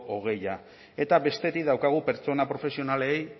hogei eta bestetik daukagu pertsona profesionalei